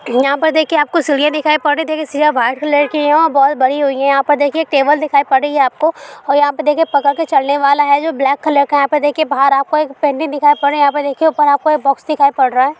यहा पर देखिए आपको सीढिया दिखाई पड़ रही है देखे सिरा वाइट कलर की है और बॉल बनी हुई है यहाँ पर देखिए टेबल दिखाई पड़ रही है आपको और यहाँ पे देखे पकड़ के चढ़ने वाला है जो ब्लेक कलर का है यहाँ पे देखे बहार आपको एक पेंटिंग दिखाई पड़ रहा है यहाँ पर इनके ऊपर आपको एक बॉक्स दिखाई पड़ रहा है।